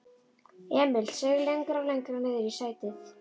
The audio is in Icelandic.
Emil seig lengra og lengra niðrí sætið.